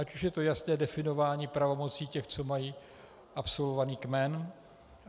Ať už je to jasné definování pravomocí těch, co mají absolvovaný kmen.